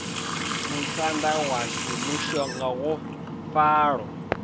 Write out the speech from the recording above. musanda washu mushonga wa falo